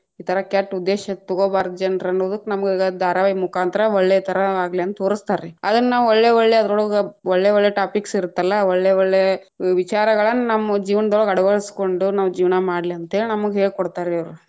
ಈ ಥರಾ ಕೆಟ್ಟ ಉದ್ದೇಶ ತಗೊಬಾರ್ದ ಜನ್ರನ್ನುದಕ್ಕ ನಮಗ ಧಾರಾವಾಹಿ ಮುಖಾಂತರ ಒಳ್ಳೆತರಾ ಆಗ್ಲಿ ಅಂತ ತೋರಸ್ತಾರ್ರೀ, ಅದನ್ನಾವ್‌ ಒಳ್ಳೆ ಒಳ್ಳೆ ಅದರೊಳಗ್‌ ಒಳ್ಳೆ ಒಳ್ಳೆ topics ಇರತ್ತಲ್ಲಾ ಒಳ್ಳೆ ಒಳ್ಳೆ ವಿಚಾರಗಳನ್‌, ನಮ್ಮ ಜೀವನದೊಳಗ್‌ ಅಳವಡ್ಸಕೊಂಡು ನಾವ್‌ ಜೀವನಾ ಮಾಡ್ಲಿ ಅಂತ್ಹೇಳಿ ನಮಗ್‌ ಹೇಳ್ಕೊಡ್ತಾರ್ರೀ ಅವ್ರ್‌.